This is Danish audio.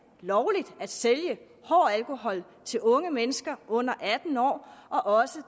lovligt at sælge hård alkohol til unge mennesker under atten år og at